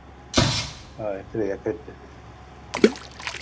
Það er þriðja kryddið.